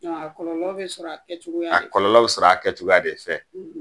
A kɔlɔlɔ bɛ sɔrɔ a kɛcogoya de fɛ